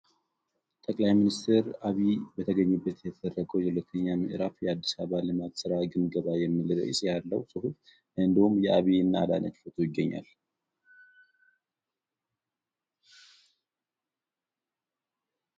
ጠቅላይ ሚኒስትር አቢ በተገኙበት የተደረገው የሁለተኛው ምዕራፍ የአዲስ አበባ ልማት ስራ ግምገማ የሚል ርዕስ ያለው ጽሑፍ እንዲሁም አብይና አዳነች ፎቶ ይገኛል ።